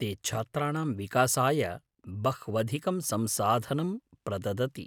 ते छात्राणां विकासाय बह्वधिकं संसाधनं प्रददति।